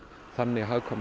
þannig hagkvæmar